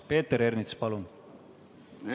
Peeter Ernits, palun!